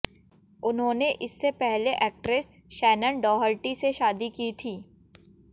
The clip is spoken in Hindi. उन्होंने इससे पहले एक्ट्रेस शैनन डॉहर्टी से शादी की थी